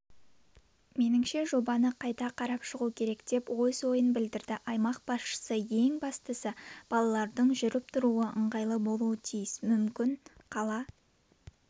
меніңше жобаны қайта қарап шығу керек деп өз ойын білдірді аймақ басшысы ең бастысы балалардың жүріп-тұруы ыңғайлы болуы тиіс мүмкін қала